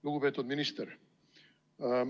Lugupeetud minister!